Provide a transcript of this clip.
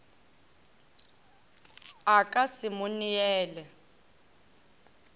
a ka se mo neele